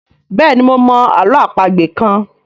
béèni mo mọ àlọ́ àpagbè kán.